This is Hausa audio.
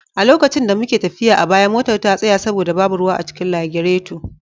A lokacin da muke tafiya a baya, motar ta tsaya saboda babu ruwa a cikin lagireto.